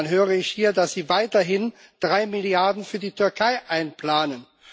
Und dann höre ich hier, dass Sie weiterhin 3 Milliarden Euro für die Türkei einplanen.